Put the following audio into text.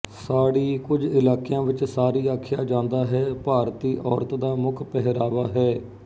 ਸਾੜੀ ਕੁੱਝ ਇਲਾਕਿਆਂ ਵਿੱਚ ਸਾਰੀ ਆਖਿਆ ਜਾਂਦਾ ਹੈ ਭਾਰਤੀ ਔਰਤ ਦਾ ਮੁੱਖ ਪਹਿਰਾਵਾ ਹੈ